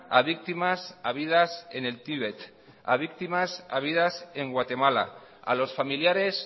a víctimas habidas en el tíbet a víctimas habidas en guatemala a los familiares